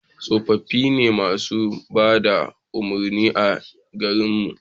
tsofaffi ne masu bada umarni a garin mu